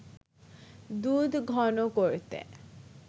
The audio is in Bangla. দুধ ঘন করতে